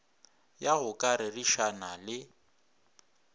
ya go ka rerišana le